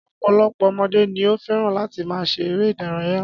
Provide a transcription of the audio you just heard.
Ọ̀pọ̀lọpọ̀ ọmọdé ni ó fẹ́ràn láti máa ṣe eré-idárayá.